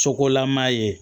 Sokolama ye